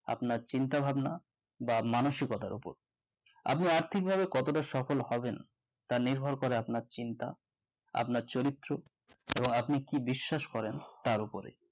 আপনার চিন্তা ভাবনা বা মানুসিকতার উপর আপনি আর্থিক ভাবে কতটা সফল হবেন তা নির্ভর করে আপনার চিন্তা আপনার চরিত্ত এবং আপনি কি বিশ্বাস করেন তার উপরে